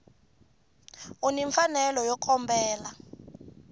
u ni mfanelo yo kombela